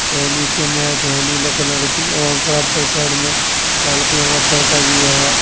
और नीचे मैट है नीले कलर की और बराबर साइड में लाल कलर का पर्दा भी है।